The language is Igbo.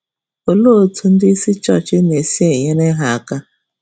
um Olee otú ndị um um isi chọọchị na-esi na-enyere ha aka?